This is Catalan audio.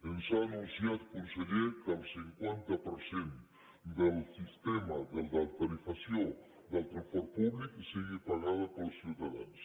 ens ha anunciat conseller que el cinquanta per cent de la tarifació del transport públic sigui pagada pels ciutadans